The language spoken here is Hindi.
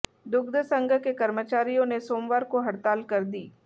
दुग्ध संघ के कर्मचारियों ने सोमवार को हड़ताल कर दी